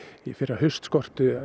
í fyrra haust skorti